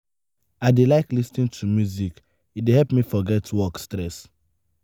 i dey like lis ten to music; e dey help me forget work stress.